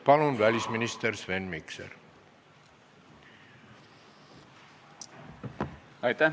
Palun, välisminister Sven Mikser!